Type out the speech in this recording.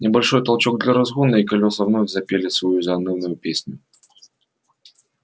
небольшой толчок для разгона и колёса вновь запели свою заунывную песню